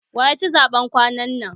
Waya ci zaɓen kwanan nan?